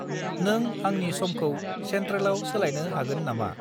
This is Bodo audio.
नों आंनि समखौ सेन्ट्रेलाव सोलायनो हागोन नामा?